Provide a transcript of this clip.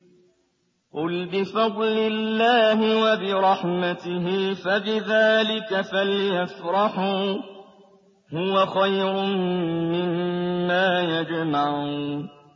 قُلْ بِفَضْلِ اللَّهِ وَبِرَحْمَتِهِ فَبِذَٰلِكَ فَلْيَفْرَحُوا هُوَ خَيْرٌ مِّمَّا يَجْمَعُونَ